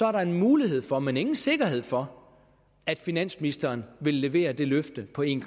er der en mulighed for men ingen sikkerhed for at finansministeren vil levere det løfte på en